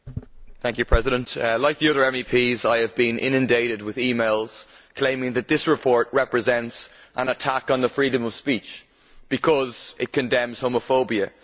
Madam President, like the other MEPs, I have been inundated with e mails claiming that this report represents an attack on the freedom of speech because it condemns homophobia.